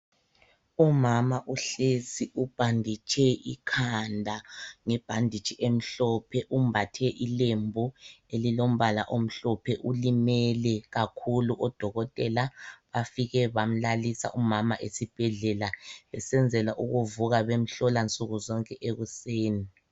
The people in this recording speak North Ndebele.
Umama uhlezi ubhanditshe ikhanda ngebhanditshi emhlophe umbathe ilembu elilombala omhlophe, ulimele kakhulu odokotela bafike bamlalisa umama esibhedlela besenzela ukuvuka bemhlola nsukuzonke ekuseni.